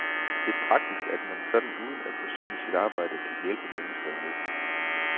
Det er praktisk, at man sådan uden at forsømme sit arbejde kan hjælpe mennesker i nød.